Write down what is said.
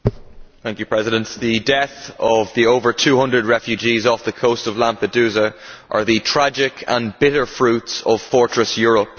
Madam President, the deaths of over 200 refugees off the coast of Lampedusa are the tragic and bitter fruits of fortress Europe.